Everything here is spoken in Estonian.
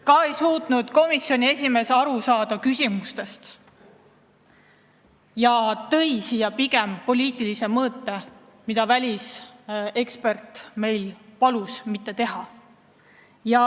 Ka ei suutnud komisjoni esimees küsimustest aru saada ja tõi siia juurde pigem poliitilise mõõtme, mida välisekspert palus meil mitte teha.